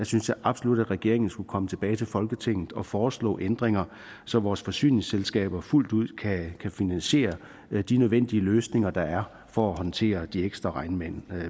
synes jeg absolut at regeringen skulle komme tilbage til folketinget og foreslå ændringer så vores forsyningsselskaber fuldt ud kan finansiere de nødvendige løsninger der er for at håndtere de ekstra regnmængder